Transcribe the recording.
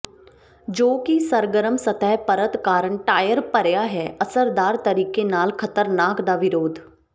ਜੋ ਕਿ ਸਰਗਰਮ ਸਤਹ ਪਰਤ ਕਾਰਨ ਟਾਇਰ ਭਰਿਆ ਹੈ ਅਸਰਦਾਰ ਤਰੀਕੇ ਨਾਲ ਖਤਰਨਾਕ ਦਾ ਵਿਰੋਧ